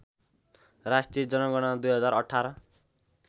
राष्ट्रिय जनगणना २०१८